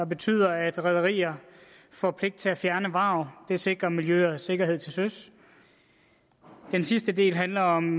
betyder at rederier får pligt til at fjerne vrag det sikrer miljø og sikkerhed til søs den sidste del handler om